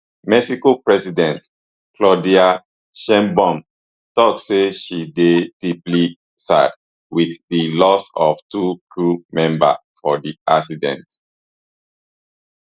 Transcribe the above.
mexico president claudia sheinbaum tok say she dey deeply sad wit di loss of two crew members for di accident